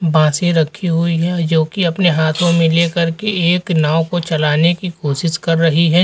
बांसे रखी हुई हैं जोकि अपने हाथों में ले कर के एक नाव को चलाने की कोशिश कर रही है।